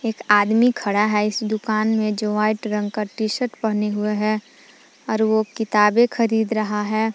आदमी खड़ा है इस दुकान में जो व्हाइट रंग का टी शर्ट पहने हुए हैं और वो किताबें खरीद रहा है।